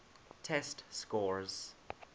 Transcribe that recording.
test scores